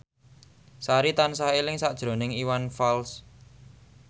Sari tansah eling sakjroning Iwan Fals